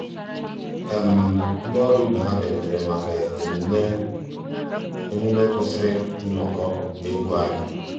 ndị́ ọ́rụ́ ìbé há bìàrùtérè màkà emùmé kwụ́sị́rí nnọ́kọ́ égwu ànyị́.